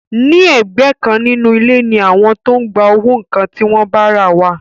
Ní ẹ̀gbẹ́ kan nínú ilé ni àwọn tó ń gba owó nǹkan tí wọ́n bá rà wà